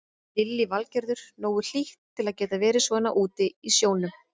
Lillý Valgerður: Nógu hlýtt til að geta verið svona úti í sjónum?